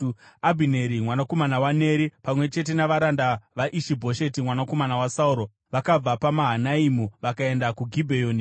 Abhineri mwanakomana waNeri, pamwe chete navaranda vaIshi-Bhosheti mwanakomana waSauro, vakabva paMahanaimi vakaenda kuGibheoni.